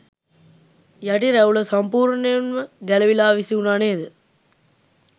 යටි රැවුල සම්පුර්ණයෙන්ම ගැලවිලා විසිවුණා නේද.